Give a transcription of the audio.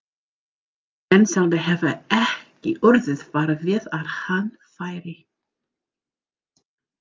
Mensalder hefur ekki orðið var við að hann færi.